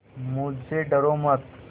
मुझसे डरो मत